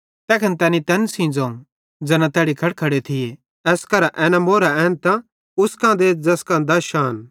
तैखन तैनी तैन सेइं ज़ोवं ज़ैन तैड़ी खड़खड़े थिये एस करां एन अश्रेफी एन्तां उस देथ ज़ैस कां दश अश्रेफीन